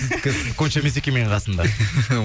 сіздікі емес екен менің қасымда